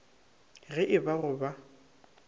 ge e ba go ba